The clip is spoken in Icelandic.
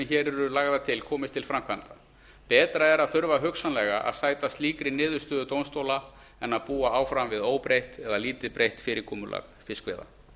hér eru lagðar til komist til framkvæmda betra er að þurfa hugsanlega að sæta slíkri niðurstöðu dómstóla en að búa áfram við óbreytt eða lítið breytt fyrirkomulag fiskveiða